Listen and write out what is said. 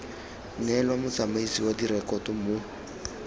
neelwa motsamaisi wa direkoto mo